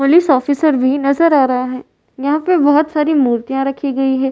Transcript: Police officer भी नजर आ रहा है। यहाँ पर बहोत सारी मुर्तिया रखी गई हैं।